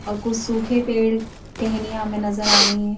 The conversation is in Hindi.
और कुछ सूखे पेड़ टेहनियां हमें नजर आ रही हैं।